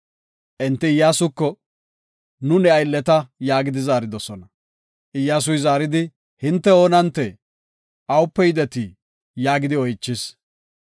Enti Iyyasuko, “Nu ne aylleta” yaagidi zaaridosona. Iyyasuy zaaridi, “Hinte oonantee? Awupe yidetii?” yaagidi oychis.